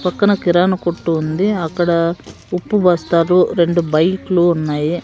పక్కన కిరాణా కొట్టు ఉంది అక్కడ ఉప్పు బస్తాలు రెండు బైక్లు ఉన్నాయి.